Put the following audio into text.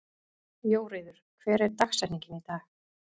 Jóríður, hver er dagsetningin í dag?